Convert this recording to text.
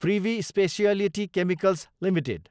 privy speciality chemicals Ltd